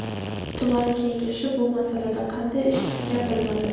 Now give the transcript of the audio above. Tuman kengashi bu masalada qanday ish tutgan bilmadim.